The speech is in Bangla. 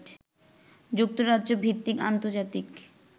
যুক্তরাজ্য ভিত্তিক আন্তর্জাতিক